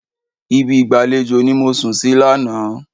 Ibi ìgbàlejò ni mo sùn sí lánàá.